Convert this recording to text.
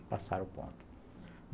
Aí passaram o ponto.